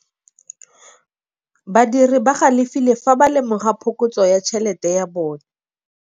Badiri ba galefile fa ba lemoga phokotsô ya tšhelête ya bone.